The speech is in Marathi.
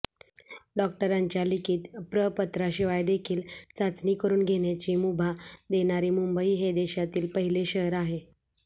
डॉक्टरांच्या लिखित प्रपत्राशिवायदेखील चाचणी करुन घेण्याची मुभा देणारे मुंबई हे देशातील पहिले शहर आहे